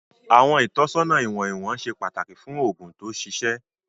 Àwọn ìtọ́sọ́nà ìwọ̀n ìwọ̀n ṣe pàtàkì fún òògùn tó ṣiṣẹ́.